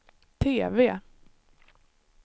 TV